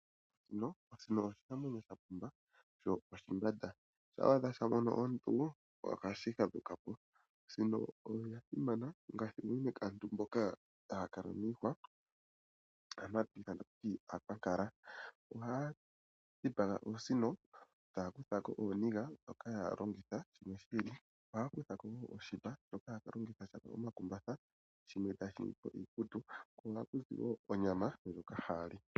Osino oshinamwenyo sha pumba sho oshimbanda. Shampa sha mono omuntu ohashi fadhuka po. Osino oya simana unene kaantu mboka haya kala miihwa mboka hatu ithana tatu ti aakwankala. Ohaya dhipaga oosino taya kutha ko ooniga nokudhi longitha shimwe shi ili. Ohaya kutha ko oshipa shoka haya ka longitha onga omakumbatha, shimwe taye shi ningi po iikutu. Ku yo ohaku zi wo onyama ndjoka haya li.